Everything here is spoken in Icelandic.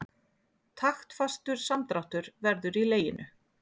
Taktfastur samdráttur verður í leginu.